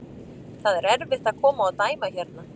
Það er erfitt að koma og dæma hérna.